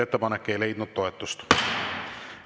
Ettepanek ei leidnud toetust.